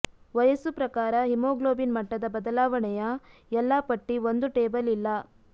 ವಯಸ್ಸು ಪ್ರಕಾರ ಹಿಮೋಗ್ಲೋಬಿನ್ ಮಟ್ಟದ ಬದಲಾವಣೆಯ ಎಲ್ಲಾ ಪಟ್ಟಿ ಒಂದು ಟೇಬಲ್ ಇಲ್ಲ